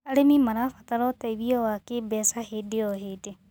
Arĩmĩ marabatara ũteĩthĩo wa kĩmbeca hĩndĩ o hĩndĩ